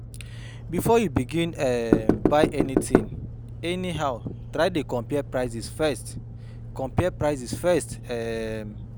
Bifor yu begin um buy anytin anyhow try dey compare prices first compare prices first um